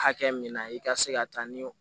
Hakɛ min na i ka se ka taa ni